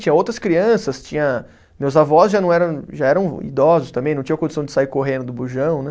Tinha outras crianças, tinha. Meus avós já não eram, já eram idosos também, não tinham condição de sair correndo do bujão, né?